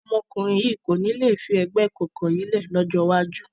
Ọmọkùnrin yìí kò ní le fi ẹgbẹ́ ìkọ̀kọ̀ yìí lẹ́ ẹ̀ lọ́jọ́ iwájú.